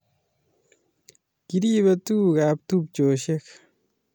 Kirepe tukuk ab tupcheshek